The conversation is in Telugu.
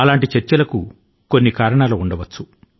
అటువంటి చర్చల కు కొన్ని కారణాలు ఉండవచ్చు